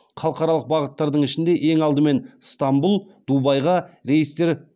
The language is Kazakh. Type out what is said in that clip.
халықаралық бағыттардың ішінде ең алдымен ыстанбұл дубайға рейстер